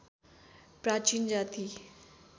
प्राचीन जाति